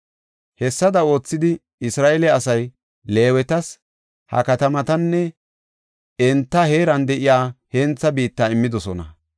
Hessada oothidi, Isra7eele asay Leewetas ha katamatanne enta heeran de7iya hentha biitta immidosona.